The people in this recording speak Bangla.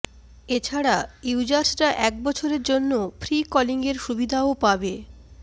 এছাড়া ইউজার্সরা এক বছরের জন্য ফ্রি কলিং এর সুবিধাও পাবে